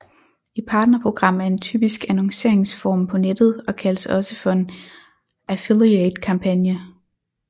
Et partnerprogram er en typisk annonceringsform på nettet og kaldes også for en affiliate kampagne